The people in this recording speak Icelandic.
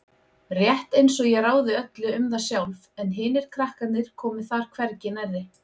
Rétt einsog ég ráði öllu um það sjálf en hinir krakkarnir komi þar hvergi nærri.